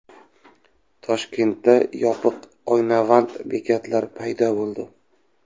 Toshkentda yopiq oynavand bekatlar paydo bo‘ldi .